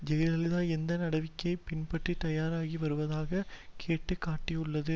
ஜெயலலிதா எடுத்த நடவடிக்கையை பின்பற்ற தயாராகி வருவதாக கேட்டு காட்டியுள்ளது